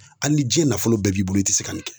Hali ni diɲɛ nafolo bɛɛ b'i bolo i ti se ka nin kɛ